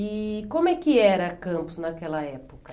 E como é que era Campos naquela época?